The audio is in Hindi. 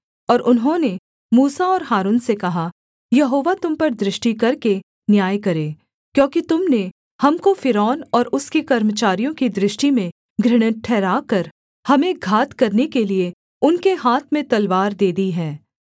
और उन्होंने मूसा और हारून से कहा यहोवा तुम पर दृष्टि करके न्याय करे क्योंकि तुम ने हमको फ़िरौन और उसके कर्मचारियों की दृष्टि में घृणित ठहराकर हमें घात करने के लिये उनके हाथ में तलवार दे दी है